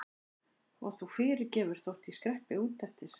Og þú fyrirgefur þótt ég skreppi út eftir.